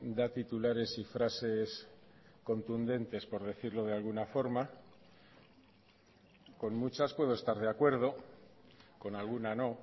da titulares y frases contundentes por decirlo de alguna forma con muchas puedo estar de acuerdo con alguna no